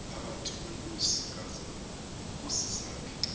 phakathi kweenkosi zakhe